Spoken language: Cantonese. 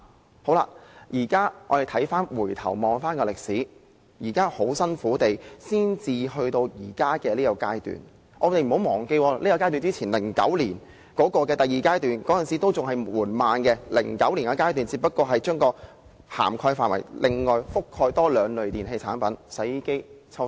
回顧歷史，我們千辛萬苦才達至目前的階段 ，2009 年第一階段強制性標籤計劃實施以後，第二階段的實施進度也非常緩慢，而第二階段只是納入另外兩類電器產品，即洗衣機和抽濕機。